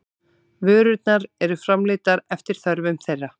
Vörurnar eru framleiddar eftir þörfum þeirra.